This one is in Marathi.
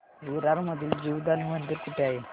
विरार मधील जीवदानी मंदिर कुठे आहे